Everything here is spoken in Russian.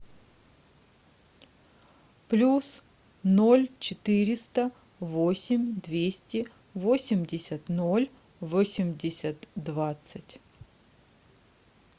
плюс ноль четыреста восемь двести восемьдесят ноль восемьдесят двадцать